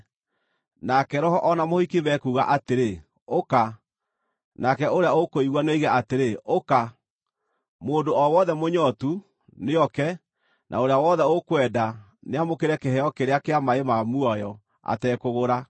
Nake Roho o na mũhiki mekuuga atĩrĩ, “Ũka!” Nake ũrĩa ũkũigua nĩoige atĩrĩ, “Ũka!” Mũndũ o wothe mũnyootu, nĩoke; na ũrĩa wothe ũkwenda, nĩamũkĩre kĩheo kĩrĩa kĩa maaĩ ma muoyo, atekũgũra.